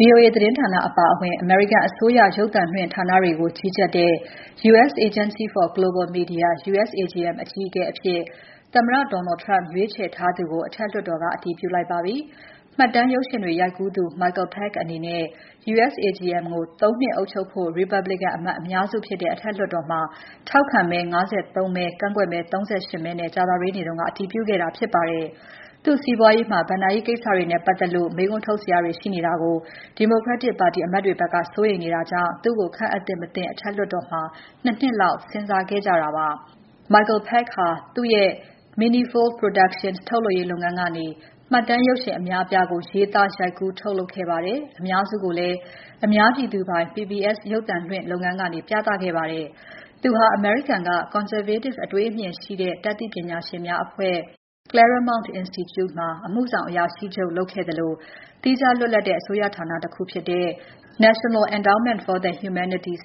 VOA သတင်းဌာနအပါအဝင် အမေရိကန်အစိုးရ ရုပ်သံလွှင့်ဌာနတွေကို ကြီးကြပ်တဲ့ U.S. Agency for Global Media (USAGM) အကြီးအကဲအဖြစ် သမ္မတ Donald Trump ရွေးချယ်ထားသူကို အထက်လွှတ်တော်က အတည်ပြုလိုက်ပါပြီ။ မှတ်တမ်းရုပ်ရှင်တွေ ရိုက်ကူးသူ Michael Pack အနေနဲ့ USAGM ကို ၃ နှစ်အုပ်ချုပ်ဖို့ ရီပတ်ဘလီကန် အမတ်အများစုဖြစ်တဲ့ အထက်လွှတ်တော်မှာ ထောက်ခံမဲ ၅၃ မဲ ကန့်ကွက်မဲ ၃၈ မဲနဲ့ ကြာသပတေးနေ့က အတည်ပြုခဲ့တာဖြစ်ပါတယ်။ သူ့စီးပွားရေးမှာ ဘဏ္ဍာရေးကိစ္စတွေနဲ့ပတ်သက်လို့ မေးခွန်းထုတ်စရာတွေ ရှိနေတာကို ဒီမိုကရက်တစ် ပါတီ အမတ်တွေဘက်က စိုးရိမ်မှုတွေ ရှိနေတာကြောင့် သူ့ကို ခန့်အပ်သင့် မသင့် အထက်လွှတ်တော်မှာ ၂ နှစ်လောက် စဉ်းစားခဲ့ကြတာပါ။ Michael Pack ဟာသူ့ရဲ့ Manifold Productions ထုတ်လုပ်ရေးလုပ်ငန်းကနေ မှတ်တမ်းရုပ်ရှင်အများအပြားကို ရေးသား၊ ရိုက်ကူး၊ ထုတ်လုပ်ခဲ့ပါတယ်။ အများစုကိုလည်း အများပြည်သူပိုင် PBS ရုပ်သံလွှင့်လုပ်ငန်းကနေ ပြသခဲ့ပါတယ်။ သူဟာ အမေရိကန်က Conservative အတွေးအမြင်ရှိသူ တတ်သိပညာရှင်များအဖွဲ့ Claremont Institute မှာ အမှုဆောင်အရာရှိချုပ်လုပ်ခဲ့သလို သီးခြားလွတ်လပ်တဲ့ အစိုးရဌာနတခုဖြစ်တဲ့ National Endowment for the Humanities,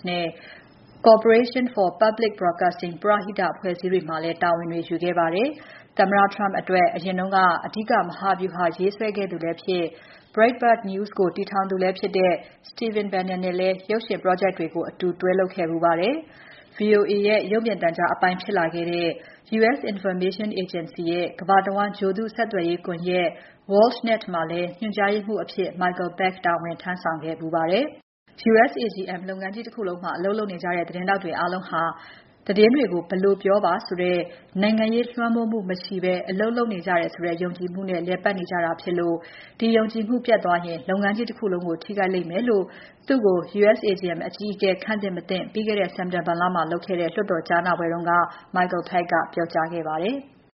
Corporation for Public Broadcasting ပရဟိတအဖွဲ့အစည်းတွေမှာလည်း တာဝန်တွေယူခဲ့ပါတယ်။ သမ္မတ Trump အတွက် အရင်က အဓိကမဟာဗျူဟာရေးဆွဲခဲ့သူလဲဖြစ်၊ Breitbart News ကိုတည်ထောင်သူလည်းဖြစ်တဲ့ Stephen Bannon နဲ့လည်း ရုပ်ရှင် project တွေကို အတူတွဲလုပ်ခဲ့ဖူးပါတယ်။ VOA ရဲ့ ရုပ်မြင်သံကြားအပိုင်းဖြစ်လာခဲ့တဲ့ U.S. Information Agency ရဲ့ ကမ္ဘာတဝန်းဂြိုလ်တုဆက်သွယ်ရေးကွန်ယက် WORLDNET မှာလည်း ညွှန်ကြားရေးမှူးအဖြစ် Michael Pack တာဝန်ထမ်းဆောင်ခဲ့ဖူးပါတယ်။ USAGM လုပ်ငန်းကြီးတခုလုံးမှာ အလုပ်လုပ်နေကြတဲ့ သတင်းထောက်တွေအားလုံးဟာ ဘက်လိုက်မှုကင်းတယ်။ သတင်းတွေကို ဘယ်လိုပြောပါဆိုတဲ့ နိုင်ငံရေးလွှမ်းမိုးမှုမရှိဘဲ အလုပ်လုပ်နေကြတယ်ဆိုတဲ့ ယုံကြည်မှုနဲ့ လည်ပတ်နေကြတာဖြစ်လို့ ဒီယုံကြည်မှုပျက်သွားရင် လုပ်ငန်းကြီးတခုလုံး ထိခိုက်လိမ့်မယ်လို့ သူ့ကို USAGM အကြီးအကဲ ခန့်သင့် မသင့် ပြီးခဲ့တဲ့ စက်တင်ဘာမှာလုပ်ခဲ့တဲ့ လွှတ်တော်ကြားနာပွဲမှာတော့ Michael Pack ပြောကြားခဲ့ပါတယ်။